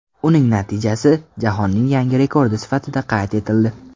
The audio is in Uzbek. Uning natijasi jahonning yangi rekordi sifatida qayd etildi.